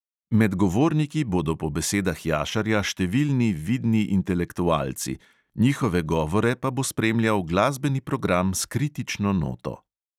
Med govorniki bodo po besedah jašarja številni vidni intelektualci, njihove govore pa bo spremljal glasbeni program s kritično noto.